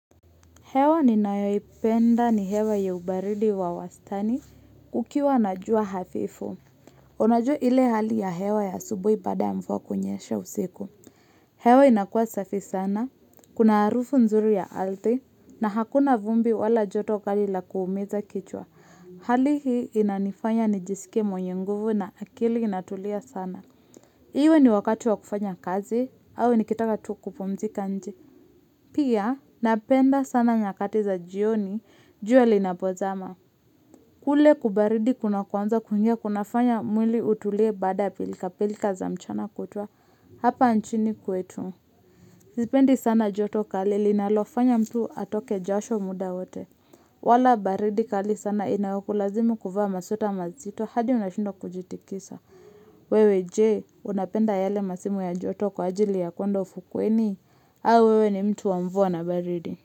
Hewa ninayoipenda ni hewa ya ubaridi wa wastani, ukiwa na jua hafifu. Unajua ile hali ya hewa ya asubuhi baada ya mvua kunyesha usiku. Hewa inakuwa safi sana, kuna harufu nzuri ya ardhi, na hakuna vumbi wala joto kali la kuumiza kichwa. Hali hii inanifanya nijisike mwenye nguvu na akili inatulia sana. Iwe ni wakati wa kufanya kazi, au nikitaka tu kupumzika nje. Pia, napenda sana nyakati za jioni, jua linapozama. Kule kubaridi kunakoanza kuingia kunafanya mwili utulie baada ya pilkapilka za mchana kutwa hapa nchini kwetu. Sipendi sana joto kali linalofanya mtu atoke josho muda wote. Wala baridi kali sana inayokulazimu kuvaa masweta mazito hadi unashindwa kujitikisa. Wewe je, unapenda yale masimu ya joto kwa ajili ya kwenda ufukweni? Au wewe ni mtu wa mvua na baridi.